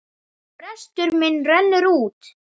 Frestur minn rennur út.